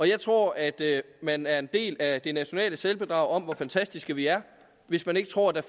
jeg tror at man er en del af det nationale selvbedrag om hvor fantastiske vi er hvis man ikke tror at der